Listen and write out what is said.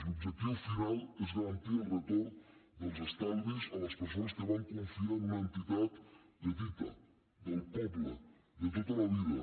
l’objectiu final és garantir el retorn dels estalvis a les persones que van confiar en un entitat petita del poble de tota la vida